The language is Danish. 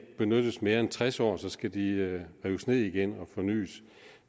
benyttes mere end tres år så skal de rives ned igen og fornys